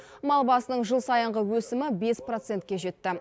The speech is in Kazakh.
мал басының жыл сайынғы өсімі бес процентке жетті